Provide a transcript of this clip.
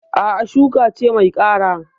A'a, shuka ce mai kara.